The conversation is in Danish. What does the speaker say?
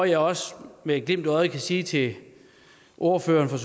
jeg også med et glimt i øjet sige til ordføreren for